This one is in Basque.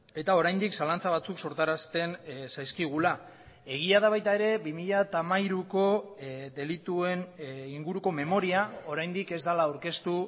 eta oraindik zalantza batzuk sortarazten zaizkigula egia da baita ere bi mila hamairuko delituen inguruko memoria oraindik ez dela aurkeztu